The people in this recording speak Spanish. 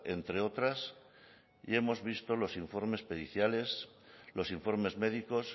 entre otras y hemos visto los informes periciales los informes médicos